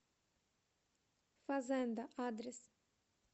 фазенда адрес